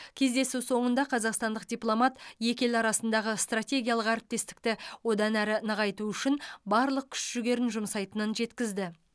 кездесу соңында қазақстандық дипломат екі ел арасындағы стратегиялық әріптестікті одан әрі нығайту үшін барлық күш жігерін жұмсайтынын жеткізді